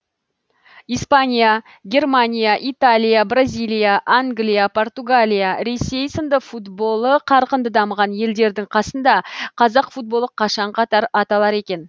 испания германия италия бразилия англия португалия ресей сынды футболы қарқынды дамыған елдердің қасында қазақ футболы қашан қатар аталар екен